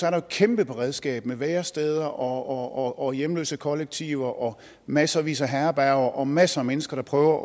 er jo et kæmpe beredskab med væresteder og hjemløsekollektiver og massevis af herberger og masser af mennesker der prøver